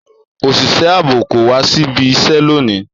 Òṣìṣẹ́ ààbò kò wá síbi iṣẹ́ lónìí